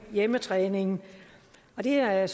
hjemmetræningen det er jeg